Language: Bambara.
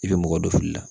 I bɛ mɔgɔ dɔ fili la